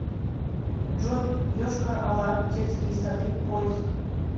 джой йошкар ола детские сады поиск